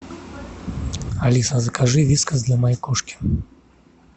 алиса закажи вискас для моей кошки